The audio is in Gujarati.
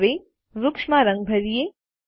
હવે વૃક્ષોમાં રંગ ભરીયે